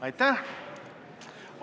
Aitäh!